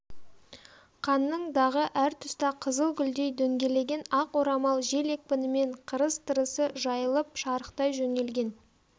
қанның дағы әртұста қызыл гүлдей дөңгелеген ақ орамал жел екпінімен қырыс-тырысы жайылып шарықтай жөнелген